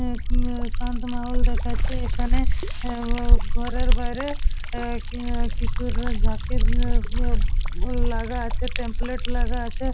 ও খানে শান্ত মহল দেখাচ্ছে এখানে এ-এ ঘরের বাইরে এ-এ কিছু যাকির উ-উ লাগা আছে টেমপ্লেট লাগা আছে।